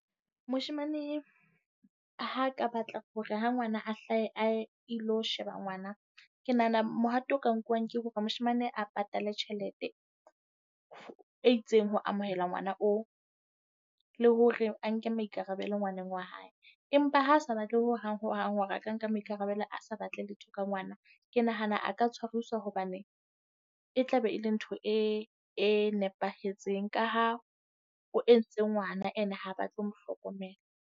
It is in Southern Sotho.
Moshemane ha ka batla hore ha ngwana a hlahe a ye ilo sheba ngwana. Ke nahana mohato o ka nkuwang ke hore moshemane a patale tjhelete e itseng ho amohela ngwana oo. Le hore a nke maikarabelo ngwaneng wa hae empa ha a sa batle ho hang ho hang, hore a ka nka maikarabelo, a sa batle letho ka ngwana. Ke nahana a ka tshwariswa hobane e tla be e le ntho e, e nepahetseng ka ha o entse ngwana, and ha batle mo hlokomela.